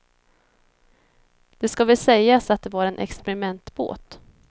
Det ska väl sägas att det var en experimentbåt.